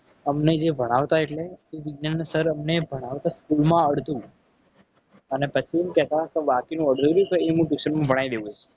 અમને જે ભણાવતા એટલે એ વિજ્ઞાનના sir અમને ભણાવતા school માં આવડતું. અને પછી શું કહે કે બાકીનું વધેલું છે. એ હું tuition માં ભણાવી દઈશ.